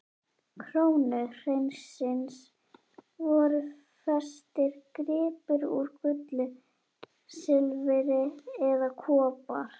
krónu hreinsins voru festir gripir úr gulli, silfri eða kopar.